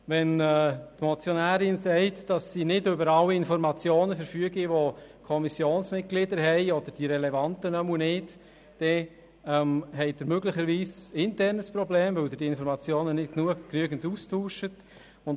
Wenn die Motionärin sagt, dass sie nicht über alle Informationen verfüge, die die Kommissionsmitglieder haben, oder zumindest nicht über die relevanten Informationen, dann besteht möglicherweise ein internes Problem, weil diese Informationen innerhalb der Fraktion nicht ausreichend ausgetauscht werden.